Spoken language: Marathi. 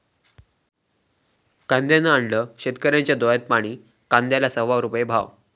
कांद्यानं आणलं शेतकऱ्यांच्या डोळ्यात पाणी, कांद्याला सव्वा रुपया भाव!